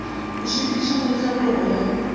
di sepedišanago le tlhabologo ya